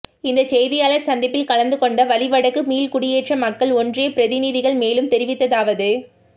இந்த செய்தியாளர் சந்திப்பில் கலந்து கொண்ட வலிவடக்கு மீள்குடியேற்ற மக்கள் ஒன்றியப்பிரதிநிதிகள் மேலும் தெரிவித்ததாவது